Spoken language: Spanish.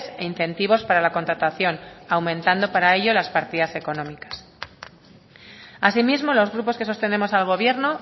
e incentivos para la contratación aumentando para ello las partidas económicas asimismo los grupos que sostenemos al gobierno